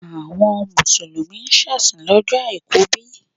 Àwọn Mùsùlùmí ń ṣèsìn lọ́jọ́ Àìkú bí?